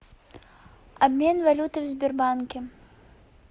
обмен валюты в сбербанке